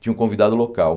Tinha um convidado local.